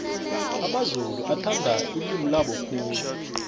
amamzulu athanda ilimi labo khulu